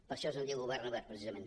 per això se’n diu govern obert precisament